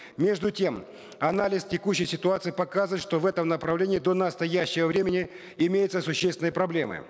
между тем анализ текущей ситуации показывает что в этом направлении до настоящего времени имеются существенные проблемы